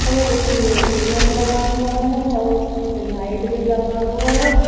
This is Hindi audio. और उसमे मिरर लगा हुआ है और उसमे लाइट भी लगा हुआ --